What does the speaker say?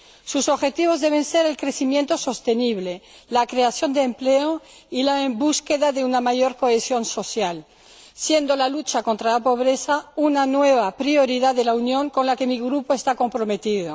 Sus objetivos deben ser el crecimiento sostenible, la creación de empleo y la búsqueda de una mayor cohesión social, siendo la lucha contra la pobreza una nueva prioridad de la Unión con la que mi grupo está comprometida.